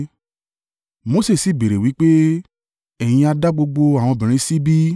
Mose sì béèrè wí pé, “Ẹ̀yin ha dá gbogbo àwọn obìnrin sí bí?